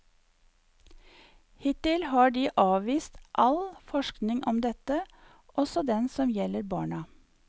Hittil har de avvist all forskning om dette, også den som gjelder barna.